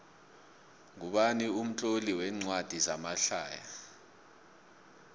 ngubani umtloli wencwadi zamahlaya